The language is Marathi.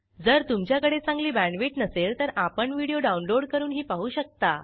जर तुमच्याकडे चांगली बॅण्डविड्थ नसेल तर आपण व्हिडिओ डाउनलोड करूनही पाहू शकता